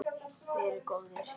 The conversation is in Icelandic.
Verið góðir!